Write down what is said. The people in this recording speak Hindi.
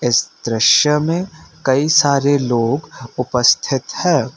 इस दृश्य में कई सारे लोग उपस्थित हैं